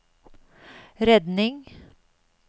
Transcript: redning